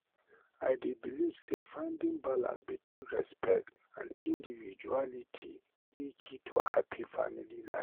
I dey believe say finding balance between respect and individuality dey key to happy family life.